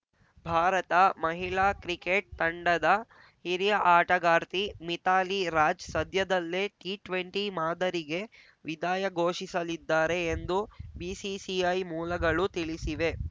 ಭಾರತ ಮಹಿಳಾ ಕ್ರಿಕೆಟ್‌ ತಂಡದ ಹಿರಿಯ ಆಟಗಾರ್ತಿ ಮಿಥಾಲಿ ರಾಜ್‌ ಸದ್ಯದಲ್ಲೇ ಟಿಟ್ವೆಂಟಿ ಮಾದರಿಗೆ ವಿದಾಯ ಘೋಷಿಸಲಿದ್ದಾರೆ ಎಂದು ಬಿಸಿಸಿಐ ಮೂಲಗಳು ತಿಳಿಸಿವೆ